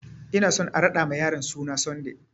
Ina so a raɗa ma yaron suna Sunday!